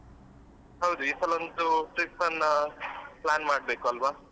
ಹೌದು ಈ ಸಲ ಅಂತು trip ಅನ್ನ plan ಮಾಡ್ಬೇಕು ಅಲ್ವ.